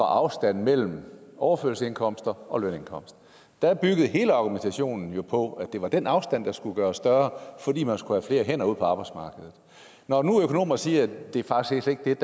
afstand mellem overførselsindkomster og lønindkomst der byggede hele argumentationen på at det var den afstand der skulle gøres større fordi man skulle have flere hænder ud på arbejdsmarkedet når nu økonomerne siger at det faktisk slet